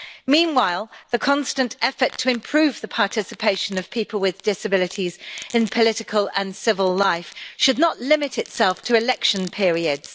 Meanwhile, the constant effort to improve the participation of people with disabilities in political and civil life should not limit itself to election periods.